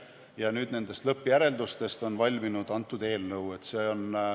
Ja nüüd on nendest lõppjäreldustest valminud kõnealune eelnõu.